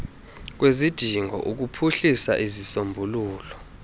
kwezidingo ukuphuhlisa izisombululo